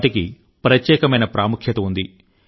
వాటికి ప్రత్యేకమైన ప్రాముఖ్యత ఉంది